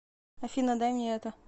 афина дай мне это